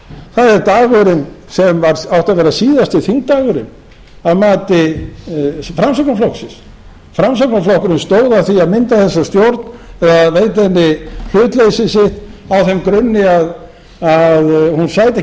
það er dagurinn sem átti að vera síðasti þingdagurinn að mati framsóknarflokksins framsóknarflokkurinn stóð að því að mynda þessa stjórn eða veita henni hlutleysi sitt á þeim grunni að hún sæti ekki lengur